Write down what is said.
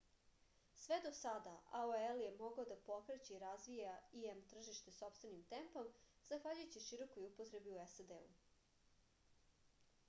sve do sada aol je mogao da pokreće i razvija im tržište sopstvenim tempom zahvaljujući širokoj upotrebi u sad